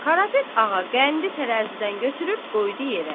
Qarapet ağa qəndi tərəzidən götürüb qoydu yerə.